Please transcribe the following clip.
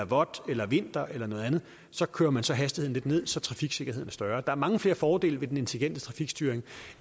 vådt eller vinter eller noget andet så kører man hastigheden lidt ned så trafiksikkerheden er større der er mange flere fordele ved den intelligente trafikstyring